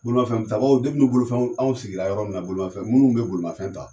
Bolimafɛn tabaaw bolofɛnw anw sigi la yɔrɔ min na bolimafɛn munnu bɛ bolimafɛn ta.